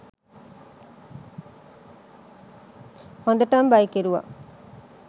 හොඳටම බය කෙරුව